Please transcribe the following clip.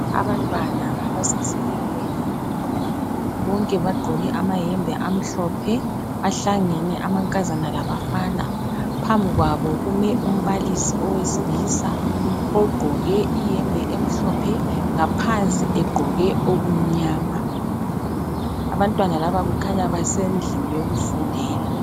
Abantwana abasesikolweni bonke bagqoke amayembe amhlophe, bahlangene amankazana labafana, phambi kwabo kume umbalisi owesilisa ogqoke iyembe emhlophe, ngaphansi egqoke okumnyama, abantwana laba kukhanya basendlini yokufundela.